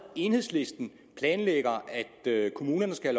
enhedslisten planlægger at kommunerne skal